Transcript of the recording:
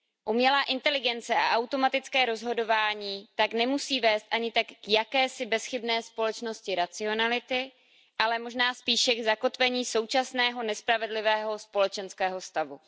Umělá inteligence a automatické rozhodování tak nemusí vést ani tak k jakési bezchybné společnosti racionality, ale možná spíše k zakotvení současného nespravedlivého společenského stavu.